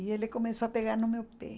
E ele começou a pegar no meu pé.